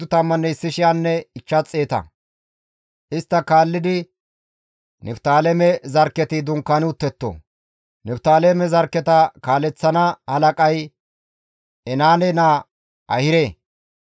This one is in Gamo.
Isttafe kaallidi Niftaaleme zarkketi dunkaani uttetto; Niftaaleme zarkketa kaaleththana halaqay Enaane naa Ahire.